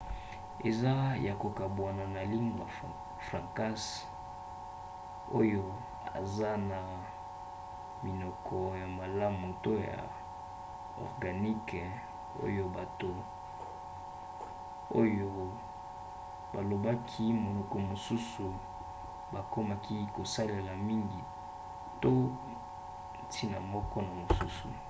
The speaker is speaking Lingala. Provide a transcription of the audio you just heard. eza ya kokabwana na lingua francas oyo eza na minoko ya malamu to ya organique oyo bato oyo balobaki minoko mosusu bakomaki kosalela mingi to ntina moko to mosusu